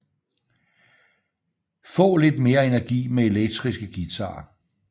Få lidt mere energi med elektriske guitarer